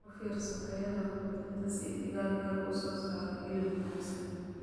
U fiirso tayada quudinta si digaaggu u soo saaro hilib wanaagsan.